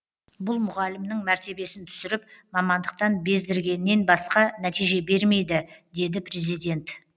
бұл мұғалімнің мәртебесін түсіріп мамандықтан бездіргеннен басқа нәтиже бермейді деді президент